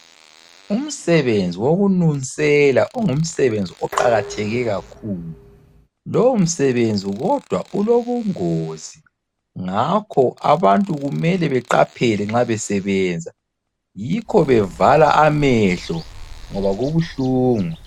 Umsebenzi wokununsela, ungumsebenzi oqakatheke kakhulu. Lowomsebenzi kodwa ulobungozi, ngakho abantu kumele beqaphele nxa besebenza, yikho bevala amehlo ngoba kubuhlungu.